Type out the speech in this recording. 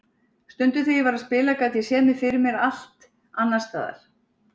Stundum þegar ég var að spila gat ég séð mig fyrir mér allt annars staðar.